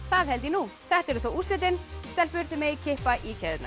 það held ég nú þetta eru þá úrslitin stelpur þið megið kippa í keðjurnar